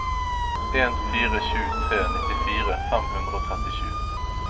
en fire sju tre nittifire fem hundre og trettisju